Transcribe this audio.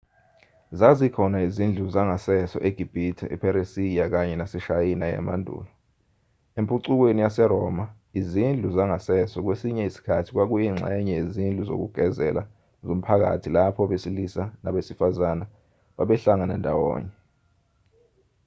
zazikhona izindlu zangasese egibhithe epheresiya kanye naseshayina yamandulo empucukweni yaseroma izindlu zangasese kwesinye isikhathi kwakuyingxenye yezindlu zokugezela zomphakathi lapho abasilisa nabesifazana babehlangana ndawonye